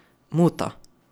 Muta.